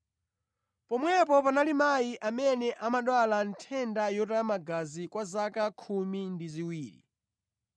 Pomwepo panali mayi amene amadwala nthenda yotaya magazi kwa zaka khumi ndi ziwiri.